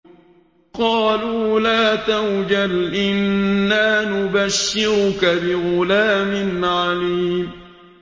قَالُوا لَا تَوْجَلْ إِنَّا نُبَشِّرُكَ بِغُلَامٍ عَلِيمٍ